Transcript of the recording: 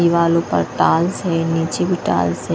दिवालो पर टाल्स नीचे भी टायल्स है।